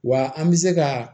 Wa an bɛ se ka